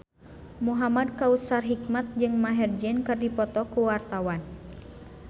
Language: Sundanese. Muhamad Kautsar Hikmat jeung Maher Zein keur dipoto ku wartawan